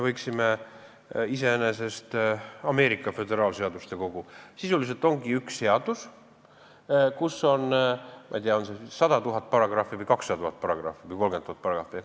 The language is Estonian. Ameerika föderaalseaduste kogu ongi sisuliselt üks seadus, kus on, ma ei tea, 100 000, 200 000 või 300 000 paragrahvi.